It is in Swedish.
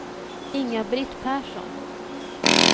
Inga-Britt Persson